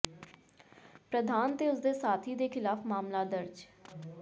ਪ੍ਰਧਾਨ ਤੇ ਉਸ ਦੇ ਸਾਥੀ ਦੇ ਖ਼ਿਲਾਫ਼ ਮਾਮਲਾ ਦਰਜ